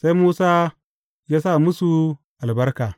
Sai Musa ya sa musu albarka.